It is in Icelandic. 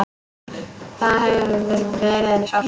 Það hefur verið henni sárt.